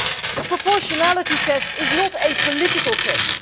The proportionality test is not a political test